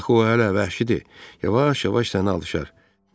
Axı o hələ vəhşidir, yavaş-yavaş sənə alışar.